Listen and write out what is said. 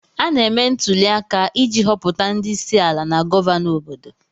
Ana eme ntụliaka iji họpụta ndị isiala na gọvanọ obodo.